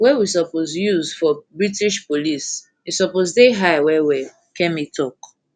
wey we suppose use for british police e suppose dey high wellwell kemi tok